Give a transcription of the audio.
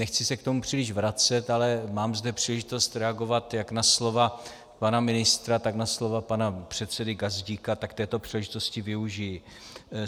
Nechci se k tomu příliš vracet, ale mám zde příležitost reagovat jak na slova pana ministra, tak na slova pana předsedy Gazdíka, tak této příležitosti využiji.